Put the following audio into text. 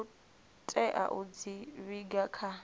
tea u dzi vhiga kha